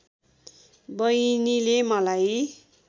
बहिनीले मलाई